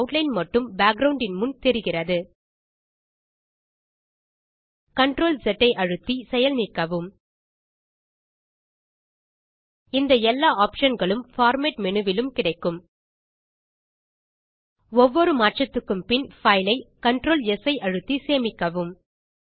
outline மட்டும் background இன் முன் தெரிகிறது CTRLZ அழுத்தி செயல் நீக்கவும் இந்த எல்லா ஆப்ஷன் களும் பார்மேட் மேனு விலும் கிடைக்கும் ஒவ்வொரு மாற்றத்துக்கும் பின் பைல் ஐ CTRLS ஐ அழுத்தி சேமிக்கவும்